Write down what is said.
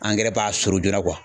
Angɛrɛ b'a sorpo joona kuwa